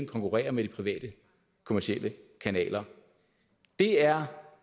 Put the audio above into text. konkurrerer med de private kommercielle kanaler det er